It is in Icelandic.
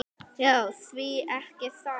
Já, því ekki það?